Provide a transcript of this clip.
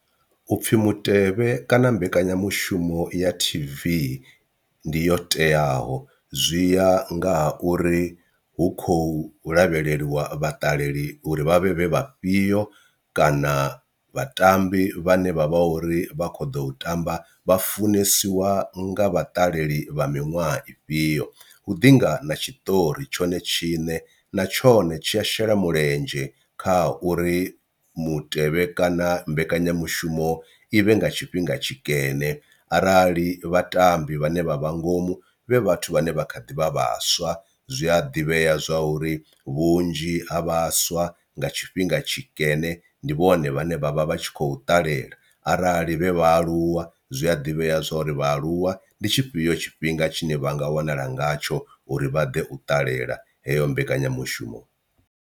U pfhi mutevhe kana mbekanyamushumo ya T_V ndi yo teaho zwi ya nga ha uri hu khou lavheleliwa vhaṱaleli uri vha vhe vhe vha fhio kana vhatambi vhane vha vha uri vha kho ḓo tamba vha funesiwa nga vhaṱaleli vha miṅwaha ifhio. Hu ḓi nga na tshiṱori tshone tshiṋe na tshone tshi a shela mulenzhe kha ha uri mutevhe kana mbekanyamushumo i vhe nga tshifhinga tshikene, arali vhatambi vhane vha vha ngomu vhe vhathu vhane vha kha ḓi vha vhaswa zwi a ḓivhea zwa uri vhunzhi ha vhaswa i nga tshifhinga tshikene ndi vhone vhane vha vha vh atshi khou ṱalela, arali vhe vhaaluwa zwia ḓivhea zwa uri vhaaluwa ndi tshifhio tshifhinga tshine vhanga wanala ngatsho uri vha ḓe u ṱalela heyo mbekanyamushumo.